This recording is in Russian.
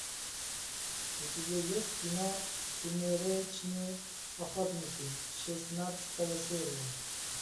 у тебя есть кино сумеречные охотники шестнадцатая серия